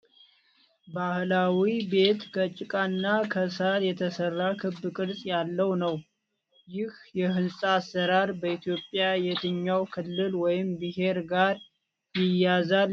ባህላዊ ቤት ከጭቃና ከሣር የተሠራ ክብ ቅርጽ ያለው ነው። ይህ የሕንፃ አሠራር በኢትዮጵያ የትኛዉ ክልል ወይም ብሔር ጋር ይያያዛል ይመስላችሃል?